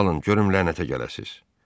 Alın, görüm lənətə gələsiz!